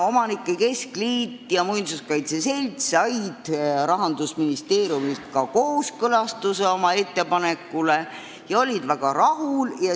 Omanike keskliit ja muinsuskaitse selts said Rahandusministeeriumilt oma ettepanekule kooskõlastuse ja olid väga rahul.